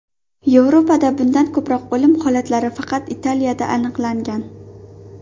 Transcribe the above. Yevropada bundan ko‘proq o‘lim holatlari faqat Italiyada aniqlangan.